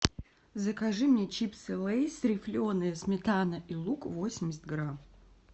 закажи мне чипсы лейс рифленые сметана и лук восемьдесят грамм